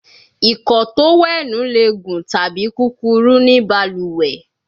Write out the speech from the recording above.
Ìkọ́ọ tówẹ́ẹ̀nù le gun tabi kukuru ni baluwe